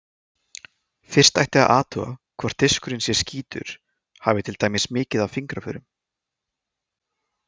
Fyrst ætti að athuga hvort diskurinn sé skítugur, hafi til dæmis mikið af fingraförum.